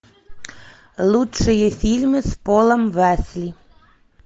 лучшие фильмы с полом уэсли